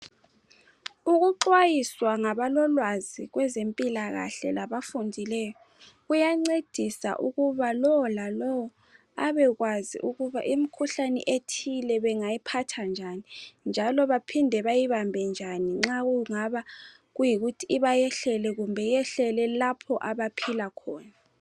Ukuxhwayiswa ngabalolwazi kwezempilakahle labafundileyo kuyancedisa ukuba lowo lalowo abekwazi ukuba imikhuhlane ethile bengayiphatha njani njalo baphinde bayibambe njani nxa kungaba kuyikuthi ibayehlele kumbe yehlele lapha abaphila khona.